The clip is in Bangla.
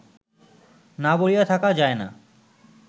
না বলিয়া থাকা যায় না!